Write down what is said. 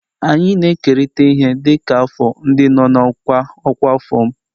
Anyị na-ekerịta ihe dịka afọ ndị nọ n'ọkwa ọkwa afọ m.